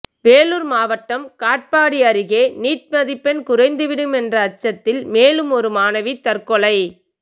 வேலூர் மாவட்டம் காட்பாடி அருகே நீட் மதிப்பெண் குறைந்துவிடும் என்ற அச்சத்தில் மேலும் ஒரு மாணவி தற்கொலை